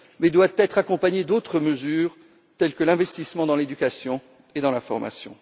Il doit être accompagné d'autres mesures, telles que l'investissement dans l'éducation et dans la formation.